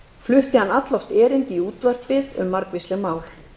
flutti hann alloft erindi í útvarpið um margvísleg mál